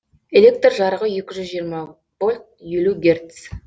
электр жарығы екі жүз жиырма вольт елу герц